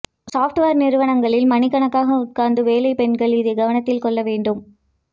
software நிறுவனங்களில் மணிக்கணக்காக உட்கார்ந்து வேலை பெண்கள் இதை கவனத்தில் கொள்ள வேண்டும்